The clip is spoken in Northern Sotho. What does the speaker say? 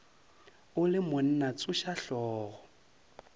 o le monna tsoša hlogo